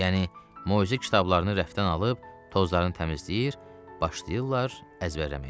Yəni moizə kitablarını rəfdən alıb tozlarını təmizləyir, başlayırlar əzbərləməyə.